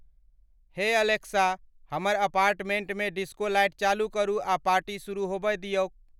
हे एलेक्सा हमर अपार्टमेंट में डिस्को लाइट चालू करू आ पार्टी शुरू होबय दियौक।